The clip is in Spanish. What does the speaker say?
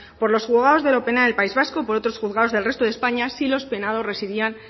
por los juzgados de lo penal del país vasco por otros juzgados del resto de españa si los penados residían